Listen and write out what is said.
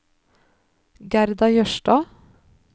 Gerda Jørstad